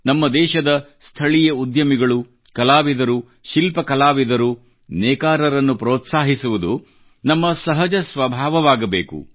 ನಮ್ಮ ದೇಶದ ಸ್ಥಳೀಯ ಉದ್ಯಮಿಗಳು ಕಲಾವಿದರು ಶಿಲ್ಪ ಕಲಾವಿದರು ನೇಕಾರರನ್ನು ಪ್ರೋತ್ಸಾಹಿಸುವುದು ನಮ್ಮ ಸಹಜ ಸ್ವಭಾವವಾಗಬೇಕು